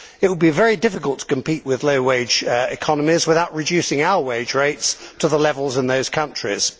It would be very difficult to compete with low wage economies without reducing our wage rates to the levels in those countries.